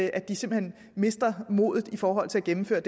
at de simpelt hen mister modet i forhold til at gennemføre